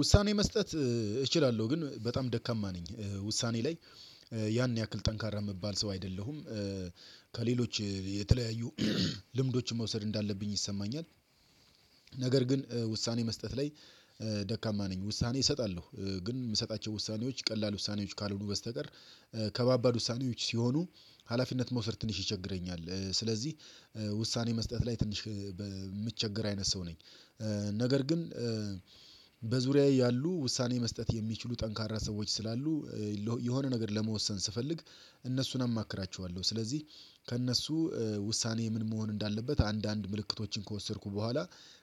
ውሳኔ መስጠት እችላለሁ ግን በጣም ደካማ ነኝ ውሳኔ ላይ ያን ያክል ጠንካራ የምባል ሰው አይደለሁም ከሌሎች የተለያዩ ልምዶችን መውሰድ እንዳለብኝ ይሰማኛል። ነገር ግን ውሳኔ መስጠት ላይ ደካማ ነኝ ውሳኔ እሰጣለሁ ግን የምሰጣቸው ውሳኔዎች ቀላል ውሳኔዎች ካልሆኑ በስተቀር ከባባድ ውሳኔዎች ሲሆኑ ሀላፊነት መውሰድ ትንሽ ይቸግረኛል ስለዚህ ውሳኔ መስጠት ላይ ትንሽ የምትቸገር አይነት ሰው ነኝ። ነገር ግን በዙሪያዬ ያሉ ውሳኔ መስጠት የሚችሉ ጠንካራ ሰዎች ስላሉ የሆነ ነገር ለመወሰን ስፈልግ እነሱን አማክራቸዋለሁ ስለዚህ ከእነሱ ውሳኔ ምን መሆን እንዳለበት አንዳንድ ምልክቶችን ከወሰድኩ በኋላ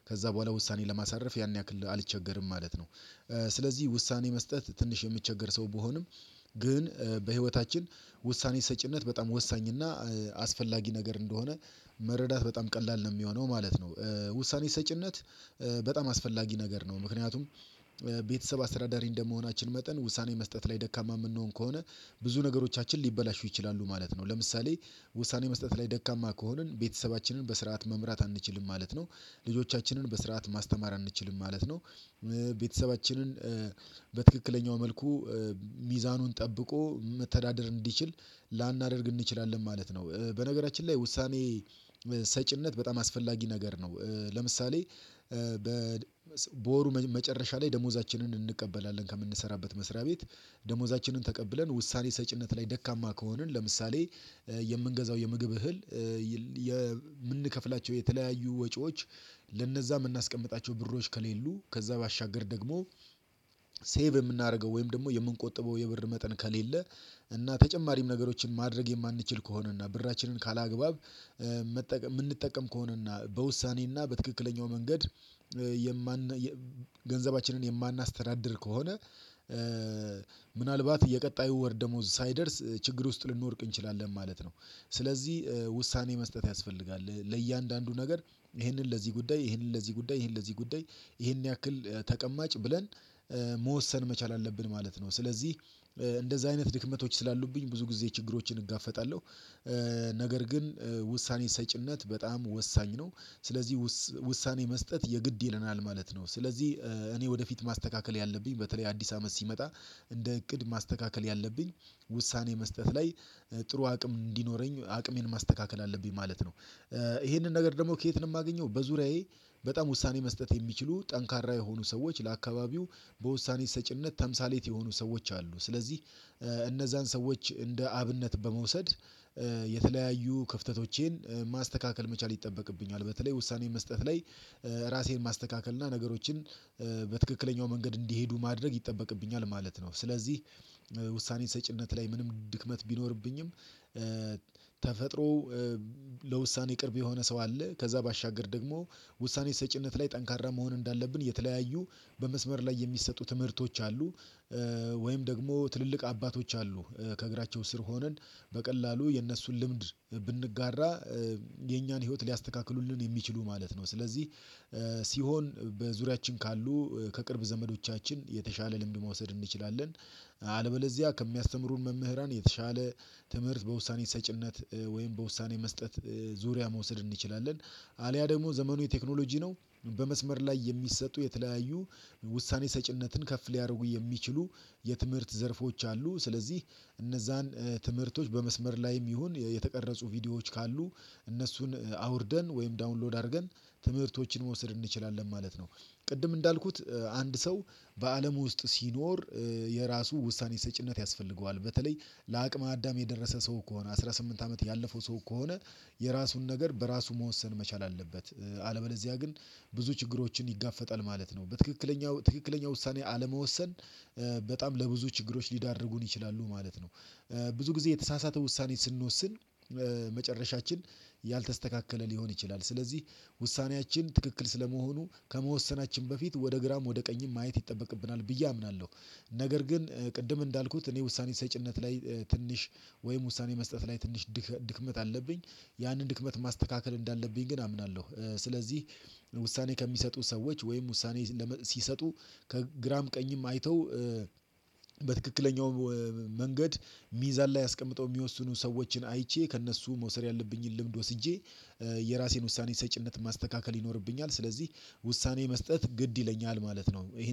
ከዛ በኋላ ውሳኔ ለማሳረፍ ያን ያክል አልቸገርም ማለት ነው። ስለዚህ ውሳኔ መስጠት ትንሽ የምቸገር ሰው ቢሆንም ግን በህይወታችን ውሳኔ ሰጪነት በጣም ወሳኝ እና አስፈላጊ ነገር እንደሆነ መረዳት በጣም ቀላል ነው የሚሆነው ማለት ነው ውሳኔ ሰጪነት። በጣም አስፈላጊ ነገር ነው ምክንያቱም ቤተሰብ አስተዳዳሪ እንደመሆናችን መጠን ውሳኔ መስጠት ላይ ደካማ የምንሆን ከሆነ ብዙ ነገሮቻችን ሊበላሹ ይችላሉ ማለት ነው። ለምሳሌ ውሳኔ መስጠት ላይ ደካማ ከሆንን ቤተሰባችንን በስርዓት መምራት አንችልም ማለት ነው። ልጆቻችንን በስርዓት ማስተማር አንችልም ማለት ነው። ቤተሰባችንን በትክክለኛው መልኩ ሚዛኑን ጠብቆ መተዳደር እንዲችል ላናደርግ እንችላለን ማለት ነው። በነገራችን ላይ ውሳኔ ሰጪነት በጣም አስፈላጊ ነገር ነው። ለምሳሌ በወሩ መጨረሻ ላይ ደሞዛችንን እንቀበላለን ከምንሰራበት መስሪያ ቤት ደሞዛችንን ተቀብለን ውሳኔ ሰጪነት ላይ ደካማ ከሆንን ለምሳሌ የምንገዛው የምግብ እህል የምንከፍላቸው የተለያዩ ወጪዎች ለነዛ የምናስቀምጣቸው ብሮች ከሌሉ ከዛ ባሻገር ደግሞ ሴቭ የምናደርገው ወይም ደግሞ የምንቆጥበው የብር መጠን ከሌለ እና ተጨማሪም ነገሮችን ማድረግ የማንችል ከሆነ እና ብራችንን ካላግባብ መጠቀ የምንጠቀም ከሆነና በውሳኔና በትክክለኛው መንገድ የማን ገንዘባችንን የማናስተዳድር ከሆነ ምናልባት የቀጣዩ ወር ደሞዝ ሳይደርስ ችግር ውስጥ ልንወድቅ እንችላለን ማለት ነው። ስለዚህ ውሳኔ መስጠት ያስፈልጋል ለእያንዳንዱ ነገር ይሄንን ለዚህ ጉዳይ ይሄንን ለዚህ ጉዳይ ይሄንን ለዚህ ጉዳይ ይሄን ያክል ተቀማጭ ብለን መወሰን መቻል አለብን ማለት ነው። ስለዚህ እንደዛ አይነት ድክመቶች ስላሉብኝ ብዙ ጊዜ ችግሮችን እጋፈጣለሁ። ነገር ግን ውሳኔ ሰጪነት በጣም ወሳኝ ነው ስለዚህ ውሳኔ መስጠት የግድ ይለናል ማለት ነው። ስለዚህ እኔ ወደፊት ማስተካከል ያለብኝ በተለይ አዲስ አመት ሲመጣ እንደ እቅድ ማስተካከል ያለብኝ ውሳኔ መስጠት ላይ ጥሩ አቅም እንዲኖረኝ አቅሜን ማስተካከል አለብኝ ማለት ነው። ይሄንን ነገር ደግሞ ከየት ነው የማገኘው በዙሪያዬ በጣም ውሳኔ መስጠት የሚችሉ ጠንካራ የሆኑ ሰዎች ለአካባቢው በውሳኔ ሰጪነት ተምሳሌት የሆኑ ሰዎች አሉ። ስለዚህ እነዛን ሰዎች እንደ አብነት በመውሰድ የተለያዩ ክፍተቶቼን ማስተካከል መቻል ይጠበቅብኛል በተለይ ውሳኔ መስጠት ላይ ራሴን ማስተካከል እና ነገሮችን በትክክለኛው መንገድ እንዲሄዱ ማድረግ ይጠበቅብኛል ማለት ነው። ስለዚህ ውሳኔ ሰጪነት ላይ ምንም ድክመት ቢኖርብኝም ተፈጥሮው ለውሳኔ ቅርብ የሆነ ሰው አለ። ከዛ ባሻገር ደግሞ ውሳኔ ሰጪነት ላይ ጠንካራ መሆን እንዳለብን የተለያዩ በመስመር ላይ የሚሰጡ ትምህርቶች አሉ። ወይም ደግሞ ትልልቅ አባቶች አሉ። ከእግራቸው ስር ሆነን በቀላሉ የእነሱን ልምድ ብንጋራ የእኛን ህይወት ሊያስተካክሉልን የሚችሉ ማለት ነው። ስለዚህ ሲሆን በዙሪያችን ካሉ ከቅርብ ዘመዶቻችን የተሻለ ልምድ መውሰድ እንችላለን። አለበለዚያ ከሚያስተምሩን መምህራን የተሻለ ትምህርት በውሳኔ ሰጪነት ወይም በውሳኔ መስጠት ዙሪያ መውሰድ እንችላለን። አልያ ደግሞ ዘመኑ የቴክኖሎጂ ነው። በመስመር ላይ የሚሰጡ የተለያዩ ውሳኔ ሰጪነትን ከፍ ሊያደርጉ የሚችሉ የትምህርት ዘርፎች አሉ። ስለዚህ እነዛን ትምህርቶች በመስመር ላይም ይሁን የተቀረጹ ቪዲዮዎች ካሉ እነሱን አውርደን ወይም ዳውንሎድ አድርገን ትምህርቶችን መውሰድ እንችላለን ማለት ነው። ቅድም እንዳልኩት አንድ ሰው በአለም ውስጥ ሲኖር የራሱ ውሳኔ ሰጪነት ያስፈልገዋል በተለይ ለአቅመ አዳም የደረሰ ሰው ከሆነ አስራ ስምንት አመት ያለፈው ሰው ከሆነ የራሱን ነገር በራሱ መወሰን መቻል አለበት። አለበለዚያ ግን ብዙ ችግሮችን ይጋፈጣል ማለት ነው። በትክክለኛው ትክክለኛ ውሳኔ አለመወሰን በጣም ለብዙ ችግሮች ሊዳርጉን ይችላሉ ማለት ነው። ብዙ ጊዜ የተሳሳተ ውሳኔ ስንወስን መጨረሻችን ያልተስተካከለ ሊሆን ይችላል። ስለዚህ ውሳኔያችን ትክክል ስለመሆኑ ከመወሰናችን በፊት ወደ ግራም ወደ ቀኝም ማየት ይጠበቅብናል ብዬ አምናለሁ። ነገር ግን ቅድም እንዳልኩት እኔ ውሳኔ ሰጪነት ላይ ትንሽ ወይም ውሳኔ መስጠት ላይ ትንሽ ድክመት አለብኝ። ያንን ድክመት ማስተካከል እንዳለብኝ ግን አምናለሁ። ስለዚህ ውሳኔ ከሚሰጡ ሰዎች ወይም ውሳኔ ሲሰጡ ከግራም ቀኝም አይተው በትክክለኛው ሚዛን ላይ አስቀምጠው የሚወስኑ ሰዎችን አይቼ ከእነሱ መውሰድ ያለብኝን ልምድ ወስጄ የራሴን ውሳኔ ሰጪነት ማስተካከል ይኖርብኛል ስለዚህ ውሳኔ መስጠት ግድ ይለኛል ማለት ነው። ይሄን